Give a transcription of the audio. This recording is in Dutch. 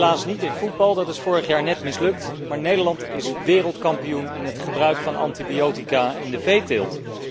Helaas niet in voetbal, dat is vorig jaar net mislukt, maar Nederland is wereldkampioen in het gebruik van antibiotica in de veeteelt.